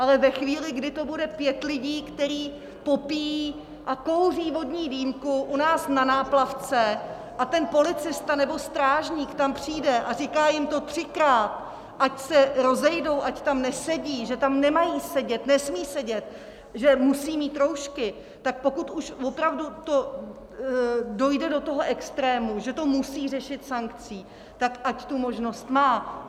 Ale ve chvíli, kdy to bude pět lidí, kteří popíjí a kouří vodní dýmku u nás na náplavce a ten policista nebo strážník tam přijde a říká jim to třikrát, ať se rozejdou, ať tam nesedí, že tam nemají sedět, nesmí sedět, že musí mít roušky, tak pokud už opravdu to dojde do toho extrému, že to musí řešit sankcí, tak ať tu možnost má.